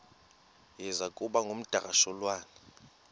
iza kuba ngumdakasholwana